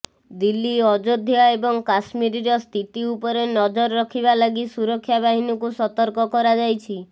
ଦିଲ୍ଲୀ ଅଯୋଧ୍ୟା ଏବଂ କାଶ୍ମୀରର ସ୍ଥିତି ଉପରେ ନଜର ରଖିବା ଲାଗି ସୁରକ୍ଷା ବାହିନୀକୁ ସତର୍କ କରାଯାଇଛି